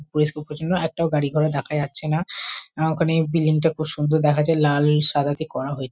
পরিষ্কার পরিছন্ন। একটাও গাড়ি ঘোড়া দেখা যাচ্ছে না। আ ওখানে বিল্ডিং টা খুব সুন্দর দেখা যায় লাল সাদা তে করা হ--